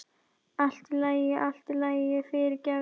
Allt í lagi, allt í lagi, fyrirgefðu.